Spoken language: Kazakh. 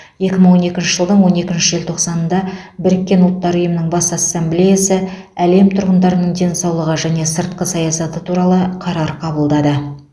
екі мың он екінші жылдың он екінші желтоқсанында біріккен ұлттар ұйымының бас ассамблеясы әлем тұрғындарының денсаулығы және сыртқы саясаты туралы қарар қабылдады